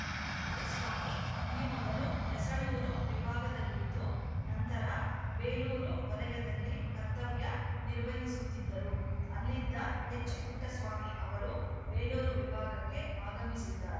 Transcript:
ಮರಿಸ್ವಾಮಿ ಈ ಮೊದಲು ಯಸಳೂರು ವಿಭಾಗದಲ್ಲಿದ್ದು ನಂತರ ಬೇಲೂರು ವಲಯದಲ್ಲಿ ಕರ್ತವ್ಯ ನಿರ್ವಹಿಸುತ್ತಿದ್ದರು ಅಲ್ಲಿದ್ದ ಎಚ್‌ಪುಟ್ಟಸ್ವಾಮಿ ಅವರು ಬೇಲೂರು ವಿಭಾಗಕ್ಕೆ ಆಗಮಿಸಿದ್ದಾರೆ